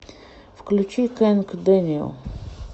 включи кэнг дэниэл